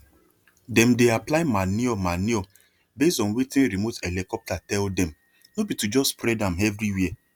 them dey apply manure manure base on wetin remote helicopter tell demno be to just spread am everywhere